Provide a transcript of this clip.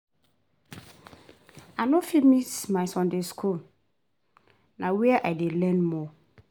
I no fit miss my Sunday school, na where I dey learn more.